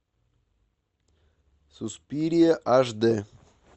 суспирия аш дэ